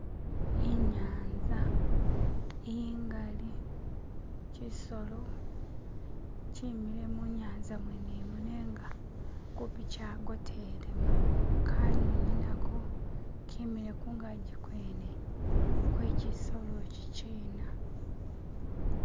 inyanza ingali kyisolo kyimile munyanza mwenemu nenga kupi kyagotelemu kanyunyi nako kemile kungaji kwene kwekyisolo ikyikyina